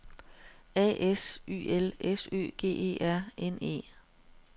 A S Y L S Ø G E R N E